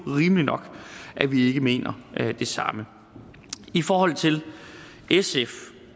rimeligt nok at vi ikke mener det samme i forhold til sfs